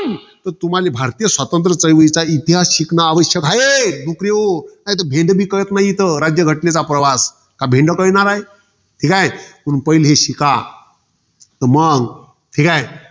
तर तुम्हाला, भारतीय चळवळीचा इतिहास शिकणं आवश्यक आहे. डूकर्यो. नाहीतर भेंडेभी काळात न्हाई, राज्यघटनेचा प्रवास. का भेंडो कळणार हाय. ठीके? म पहिले हे शिका. तर मंग. ठीकाय?